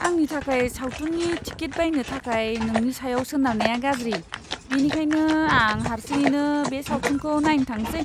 आंनि थाखाय सावथुननि टिकेट बायनो थाखाय नोंनि सायाव सोनारनाया गाज्रि, बेनिखायनो आं हारसिङैनो बे सावथुनखौ नायनो थांनोसै।